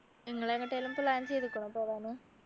നിങ്ങൾ എങ്ങോട്ടേലും plan ചെയ്തിക്കുണൊ പോവാന്